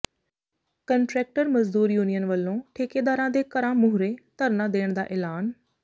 contractor ਮਜ਼ਦੂਰ union ਵਲੋਂ ਠੇਕੇਦਾਰਾਂ ਦੇ ਘਰਾਂ ਮੂਹਰੇ ਧਰਨਾ ਦੇਣ ਦਾ ਐਲਾਨ